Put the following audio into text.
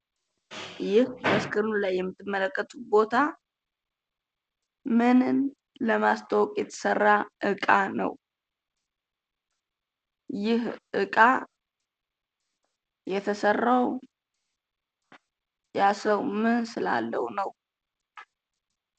ይህ በምስሉ ላይ የምትመለከቱት እቃ ምንን ለማስተዋወቅ የተሰራ እቃ ነው? ይህ እቃ የተሰራው ያ ሰው ምን ስላለው ነው?